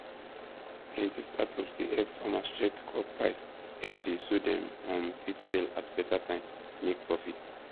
plenty startups dey help farmers check crop price everyday so dem um fit sell at better time make profit